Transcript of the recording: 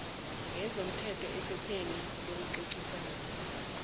yezomthetho ephepheni lokucocisana